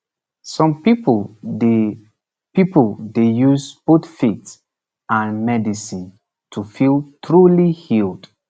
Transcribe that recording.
some people dey people dey use both faith and medicine to feel truly healed